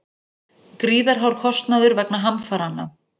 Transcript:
Gríðarhár kostnaður vegna hamfaranna